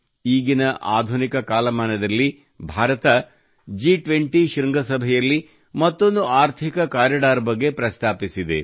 ಈಗಿನ ಆಧುನಿಕ ಕಾಲಮಾನದಲ್ಲಿ ಭಾರತವು ಜಿ20 ಶೃಂಗಸಭೆಯಲ್ಲಿ ಮತ್ತೊಂದು ಆರ್ಥಿಕ ಕಾರಿಡಾರ್ ಬಗ್ಗೆ ಪ್ರಸ್ತಾಪಿಸಿದೆ